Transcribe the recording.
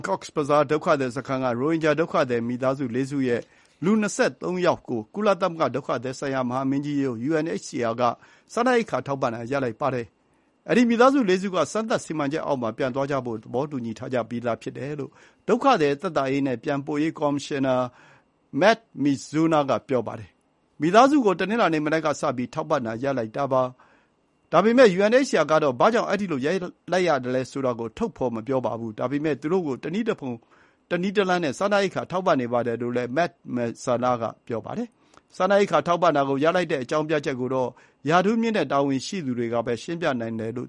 Cox's Bazar ဒုက္ခသည်စခန်းက ရိုဟင်ဂျာဒုက္ခသည်မိသားစု ၄ စု ရဲ့ လူ ၂၃ ယောက်ကို ကုလသမဂ္ဂ ဒုက္ခသည်ဆိုင်ရာမဟာမင်းကြီးရုံး UNHCR က စားနပ်ရိက္ခာထောက်ပံ့တာ ရပ်နားလိုက်ပါတယ်။ အဲဒီ မိသားစု ၄ စုတို့ စမ်းသပ်စီမံချက်အောက်မှာ ပြန်သွားကြဖို့ သဘောတူညီထားပြီးသားဖြစ်တယ်လို့ ဒုက္ခသည် သက်သာရေးနဲ့ ပြန်ပို့ရေးကော်မရှင်နာ Md Mizanur ကပြောပါတယ်။ “မိသားစု ကို တနင်္လာနေ့ မနက်ကစပြီး ထောက်ပံ့တာရပ်လိုက်တာပါ။ ဒါပေမဲ့ UNHCR ကတော့ ဘာကြောင့် အဲဒီလို ရပ်လိုက်ရသလဲဆိုတာကို ဖော်ထုတ်မပြောပါဘူး။ ဒါပေမဲ့ သူတို့ ကို တနည်းတဖုံနည်းလမ်းနဲ့ စားနပ်ရိက္ခာ ထောက်ပံ့နေပါတယ်။” လို့လည်း Md Mizanur က ဆိုပါတယ်။ စားနပ်ရိက္ခာ ထောက်ပံ့တာကို ရပ်လိုက်တဲ့အကြောင်းပြချက်ကိုတော့ ရာထူးမြင့်တဲ့ တာဝန်ရှိသူတွေကပဲ ရှင်းပြနိုင်ပါတယ်လို့